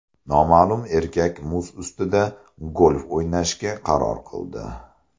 Noma’lum erkak muz ustida golf o‘ynashga qaror qildi.